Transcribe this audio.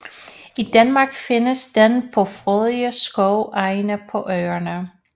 I Danmark findes den på frodige skovenge på Øerne